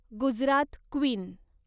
Gujarat queen